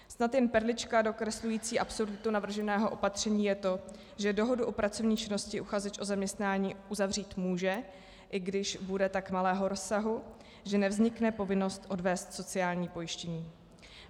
Snad jen perlička dokreslující absurditu navrženého opatření je to, že dohodu o pracovní činnosti uchazeč o zaměstnání uzavřít může, i když bude tak malého rozsahu, že nevznikne povinnost odvést sociální pojištění.